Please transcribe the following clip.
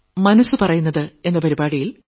മനസ്സ് പറയുന്നത് 2